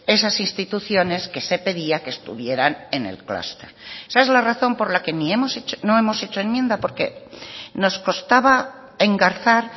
esas instituciones que se pedía que estuvieran en el clúster esa es la razón por la que no hemos hecho enmienda porque nos costaba engarzar